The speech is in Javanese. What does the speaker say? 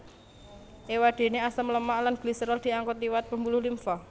Éwadéné asam lemak lan gliserol diangkut liwat pembuluh limfa